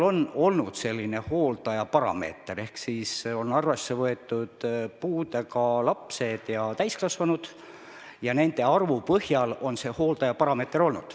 On kehtinud ka hooldajaparameeter: arvesse on võetud puudega lapsed ja täiskasvanud, nende arvu põhjal on see hooldajaparameeter kehtinud.